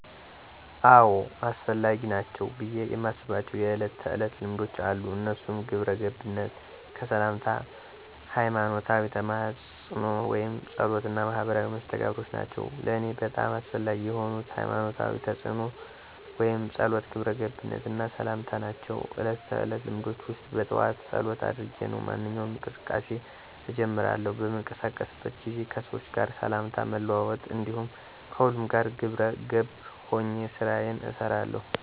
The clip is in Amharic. አዎ! አስፈላጊ ናቸው ብየ የማስባቸው የእለት ተዕለት ልማዶች አሉ። እነሱም ግብረገብነት፣ ከሠላምታ፣ ሀይማኖታዊ ተማፅኖ ወይም ፀሎት እና ማህበራዊ መስተጋብር ናቸው። ለእኔ በጣም አስፈላጊ የሆኑት፦ ሀይማኖታዊ ተማፅኖ ወይም ፀሎት፣ ግብረ ገብነት እና ሠላምታ ናቸው። እለት ተዕለት ልማዶቸ ውስጥ በጠዋት ፀሎት አድርጌ ነው ማንኛውንም እንቅስቃሴ እጀምራለሁ። በምንቀሳቀስበት ጊዜ ከሠዎች ጋር ሠላምታ መለዋወጥ እንዲሁም ከሁሉም ጋር ግብረ ገብ ሆኘ ስራየን እሠራለሁ።